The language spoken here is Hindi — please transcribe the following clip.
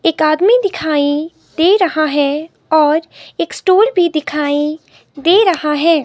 एक आदमी दिखाई दे रहा है और एक स्टूल भी दिखाई दे रहा है।